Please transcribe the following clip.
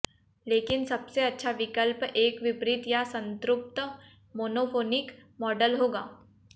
लेकिन सबसे अच्छा विकल्प एक विपरीत या संतृप्त मोनोफोनिक मॉडल होगा